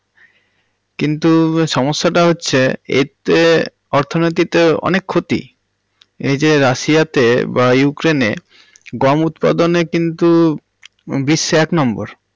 কিন্তু সমস্যাটা হচ্ছে এতে অর্থনতির তো অনেক ক্ষতি। এই যে রাশিয়া তে বা উক্রেনে গম উৎপাদনে কিন্তু বিশ্বে এক নম্বর।